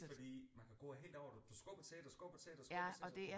Fordi fordi man kan gå helt over det du skubber til det og skubber til det og skubber til det